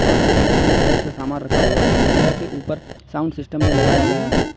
और अलमीरा में बहुत से सामान रखा हुआ है अलमीरा के ऊपर साउंड सिस्टम भी लगाया गया है।